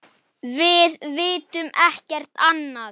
Við vitum ekkert annað.